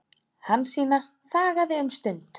Hansína þagði um stund.